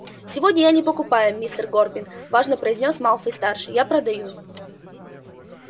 сегодня я не покупаю мистер горбин важно произнёс малфой-старший а продаю